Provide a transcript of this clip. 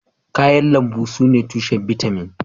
Kayan lambu sune tushen tushen bitamin